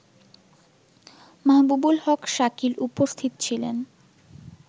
মাহবুবুল হক শাকিল উপস্থিত ছিলেন